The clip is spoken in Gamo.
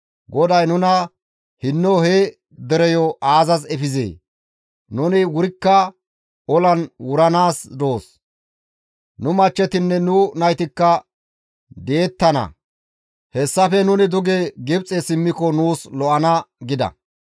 GODAY nuna hinno he dereyo aazas efizee? Nuni wurikka olan wuranaas doos; nu machchetinne nu naytikka di7ettana; hessafe nuni duge Gibxe simmiko nuus lo7ana» gida.